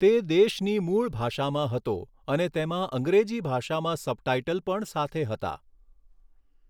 તે દેશની મૂળ ભાષામાં હતો, અને તેમાં અંગ્રેજી ભાષામાં સબટાઈટલ પણ સાથે હતા.